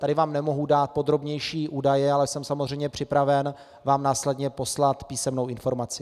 Tady vám nemohu dát podrobnější údaje, ale jsem samozřejmě připraven vám následně poslat písemnou informaci.